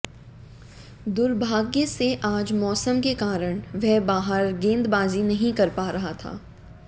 दुर्भाग्य से आज मौसम के कारण वह बाहर गेंदबाजी नहीं कर पा रहा था